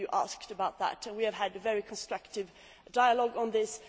Some of you have asked about this, and we have had a very constructive dialogue on this.